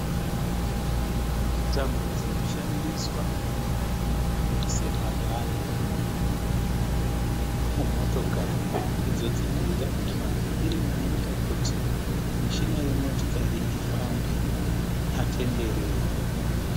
Tambo dzinoshandiswa semabhande mumotokari idzo dzinoita kuti mavhiri anoita kuti mishina yemotikari ifambe atenderere.